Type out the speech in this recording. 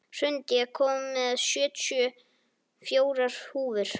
Hrund, ég kom með sjötíu og fjórar húfur!